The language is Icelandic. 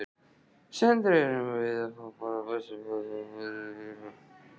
Sindri: Erum við þá bara föst í einhverju, einhverju tómarúmi?